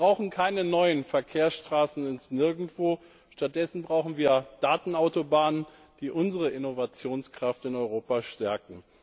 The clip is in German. Wir brauchen keine neuen Verkehrsstraßen ins Nirgendwo, stattdessen brauchen wir Datenautobahnen, die unsere Innovationskraft in Europa stärken.